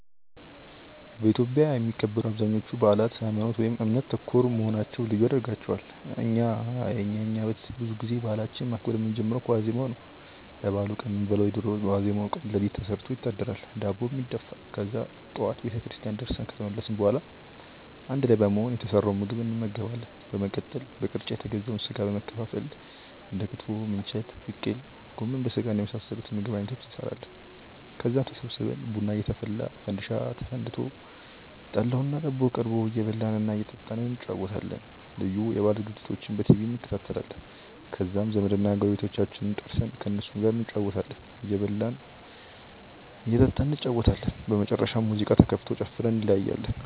በኢትዮጵያ የሚከበሩ አብዛኞቹ በአላት ሀይማኖት ( እምነት) ተኮር መሆናቸው ልዩ ያደርጋቸዋል። እና የኛ ቤተሰብ ብዙ ጊዜ በአላችንን ማክበር የምንጀምረው ከዋዜማው ነው። ለበአሉ ቀን የምንበላውን የዶሮ ወጥ በዋዜማው ቀን ሌሊት ተሰርቶ ይታደራል፤ ዳቦም ይደፋል። ከዛ ጠዋት ቤተክርስቲያን ደርሰን ከተመለስን በኋላ አንድ ላይ በመሆን የተሰራውን ምግብ እንመገባለን። በመቀጠል በቅርጫ የተገዛውን ስጋ በመከፋፈል እንደ ክትፎ፣ ምንቸት፣ ቅቅል፣ ጎመን በስጋና የመሳሰሉት የምግብ አይነቶችን እንሰራለን። ከዛም ተሰብስበን ቡና እየተፈላ፣ ፈንዲሻ ተፈንድሶ፣ ጠላውና ዳቦው ቀርቦ እየበላን እና እየጠጣን እንጨዋወታለን። ልዩ የበአል ዝግጅቶችንም በቲቪ እንከታተላለን። ከዛም ዘመድና ጎረቤቶቻችንን ጠርተን ከእነሱም ጋር እንጨዋወታለን፤ እንበላለን እንጠጣለን። በመጨረሻም ሙዚቃ ተከፍቶ ጨፍረን እንለያያለን።